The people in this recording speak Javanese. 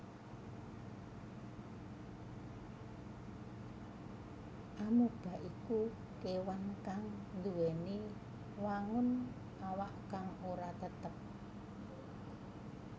Amoeba iku kéwan kang nduwèni wangun awak kang ora tetep